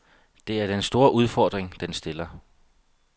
Det er den store udfordring, den stiller.